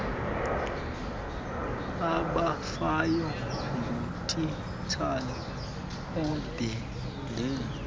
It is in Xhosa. abafayo ngutitshala ubhede